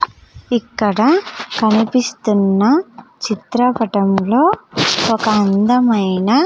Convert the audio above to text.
ఇక్కడ కనిపిస్తున్న చిత్రపటంలో ఒక అందమైన--